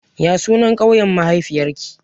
Ya sunan ƙauyen mahaifiyar ki?